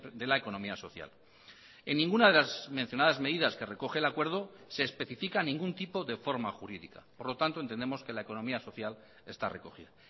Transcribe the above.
de la economía social en ninguna de las mencionadas medidas que recoge el acuerdo se especifica ningún tipo de forma jurídica por lo tanto entendemos que la economía social está recogida